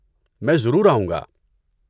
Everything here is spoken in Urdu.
میں ضرور آؤں گا۔